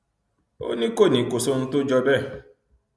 ó ní kò ní kò sóhun tó jọ bẹẹ